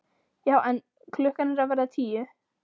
Já en. klukkan er að verða tíu!